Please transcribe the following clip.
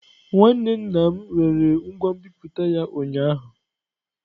Nwanne nna m rere ngwa nbipute ya ụnyaahụ.